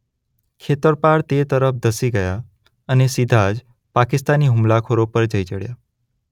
ખેતરપાળ તે તરફ ધસી ગયા અને સીધા જ પાકિસ્તાની હુમલાખોરો પર જઈ ચડ્યા.